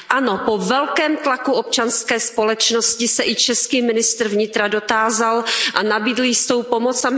Ano, po velkém tlaku občanské společnosti se i český ministr vnitra dotázal a nabídl jistou pomoc.